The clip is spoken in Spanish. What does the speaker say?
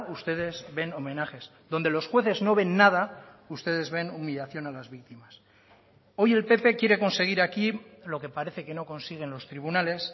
ustedes ven homenajes donde los jueces no ven nada ustedes ven humillación a las víctimas hoy el pp quiere conseguir aquí lo que parece que no consigue en los tribunales